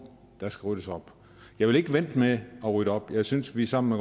der skal ryddes op jeg vil ikke vente med at rydde op jeg synes at vi sammen